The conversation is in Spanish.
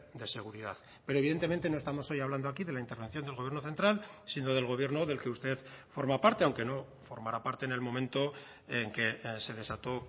de seguridad pero evidentemente no estamos hoy hablando aquí de la intervención del gobierno central sino del gobierno del que usted forma parte aunque no formara parte en el momento en que se desató